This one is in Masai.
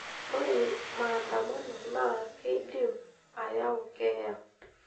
Ore maaandamano naa keidim aayu keeya.